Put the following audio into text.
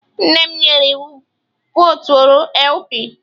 Nne m nyere iwu, votuoro LP!